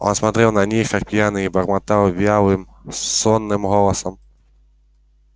он смотрел на них как пьяный и бормотал вялым сонным голосом